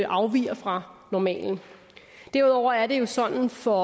afviger fra normalen derudover er det jo sådan for